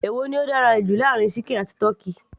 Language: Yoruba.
èwo ni ó dára jù láàárin ṣíkìn àti tọ́kì